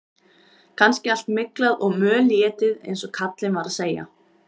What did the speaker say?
Kannski allt myglað og mölétið eins og kallinn var að segja.